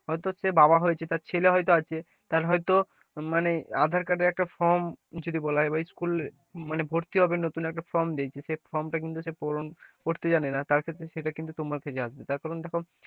হয়তো সে বাবা হয়েছে তার ছেলে হয়তো আছে, তার হয়তো মানে আধার কার্ডের একটা form যদি বলা হয় স্কুল ভর্তি হবে নতুন একটা form দিয়েছে কিন্তু সেই form টা কিন্তু সে পূরণ করতে জানে না তার ক্ষেত্রে সেটা কিন্তু তোমার কাছে আসবে তার কারণ দেখো,